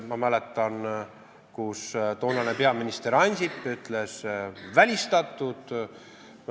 Ma mäletan, kui toonane peaminister Ansip ütles: "Välistatud!